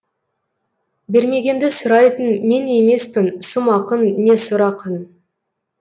бермегенді сұрайтын мен емеспін сұм ақын не сұр ақын